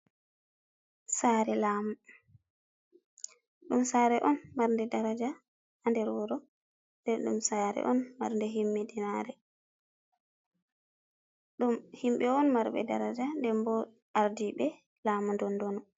Sare laamu, ɗum sare on marnde daraja ha nder wuro den ɗum sare on marnde himiɗinare ɗum himɓɓe on marɓe daraja den bo ardi ɓe lamu dondonu.